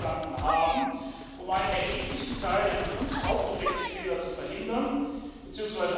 gestanden haben, um einen erheblichen Teil der von uns aufgedeckten Fehler zu verhindern bzw.